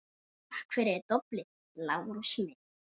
Takk fyrir doblið, Lárus minn